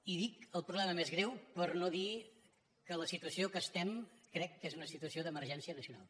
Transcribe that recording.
i dic el problema més greu per no dir que la situació en què estem crec que és una situació d’emergència nacional